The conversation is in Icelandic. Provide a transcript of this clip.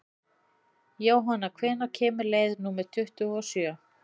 Jónanna, hvenær kemur leið númer tuttugu og sjö?